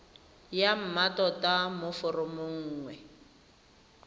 ya mmatota mo foromong nngwe